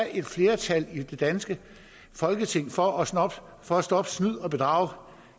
er et flertal i det danske folketing for for at stoppe snyd og bedrag